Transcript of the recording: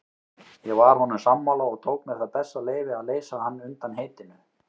Ég var honum sammála og tók mér það bessaleyfi að leysa hann undan heitinu.